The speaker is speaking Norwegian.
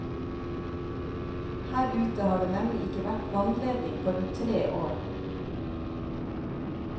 Her ute har det nemlig ikke vært vannledning på rundt tre år.